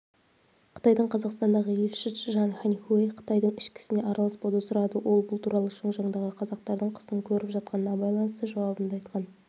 қытайдың қазақстандағы елшісі чжан ханьхуэй қытайдың ішкі ісіне араласпауды сұрады ол бұл туралы шыңжаңдағы қазақтардың қысым көріп жатқанына байланысты жауабында айтқан